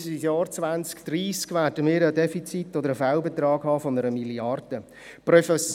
Bis ins Jahr 2030 werden wir einen Fehlbetrag von 1 Mrd. Franken aufweisen.